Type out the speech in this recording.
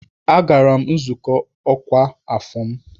Agara m nzukọ ọkwa afọ m.